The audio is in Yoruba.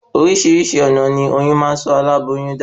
Orísirísi ònà ní oyún máa n sọ aláboyún da